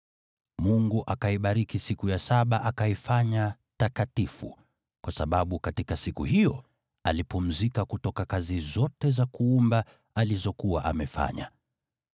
Mungu akaibariki siku ya saba akaifanya takatifu, kwa sababu katika siku hiyo alipumzika kutoka kazi zote za kuumba alizokuwa amefanya.